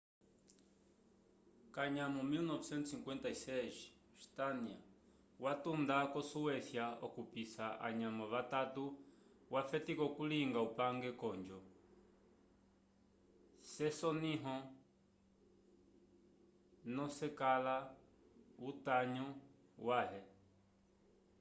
kanyamo 1956 stania watunda ko suecia okupisa anyamo vatato wafetika okulinga upange konjo se soniho nokecakala utanyo ya he